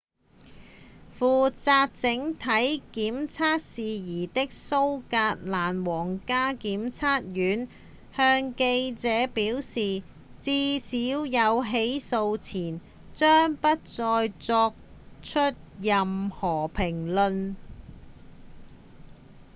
負責整體檢察事宜的蘇格蘭皇家檢察院向記者表示至少在起訴前將不再做出任何評論